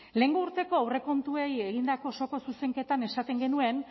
lehengo urteko aurrekontuei egindako osoko zuzenketan esaten genuen